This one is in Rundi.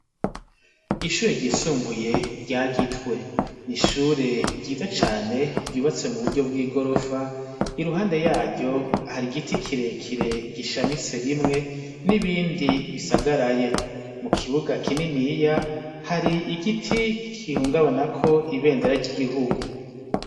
Ishure ryisumbuye rya Gitwe. Ni ishure ryiza cane ryubatse mu buryo bw'igorofa , iruhande yaryo hari igiti kirekire gishamitse rimwe n'ibindi bisagaraye. Mu kibuga kininiya hari igiti gihungabanako ibendera ry'igihugu.